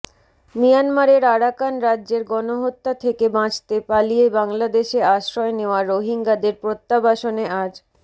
মিয়ানমারের আরাকান রাজ্যের গণহত্যা থেকে বাঁচতে পালিয়ে বাংলাদেশে আশ্রয় নেওয়া রোহিঙ্গাদের প্রত্যাবাসনে আজ